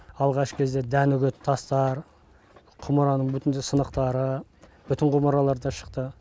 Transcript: алғашқы кезде дән үгетін тастар құмыраның сынықтары бүтін құмыралар да шықты